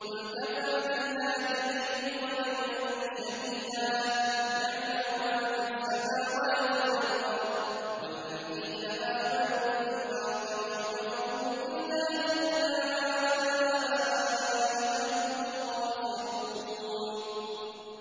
قُلْ كَفَىٰ بِاللَّهِ بَيْنِي وَبَيْنَكُمْ شَهِيدًا ۖ يَعْلَمُ مَا فِي السَّمَاوَاتِ وَالْأَرْضِ ۗ وَالَّذِينَ آمَنُوا بِالْبَاطِلِ وَكَفَرُوا بِاللَّهِ أُولَٰئِكَ هُمُ الْخَاسِرُونَ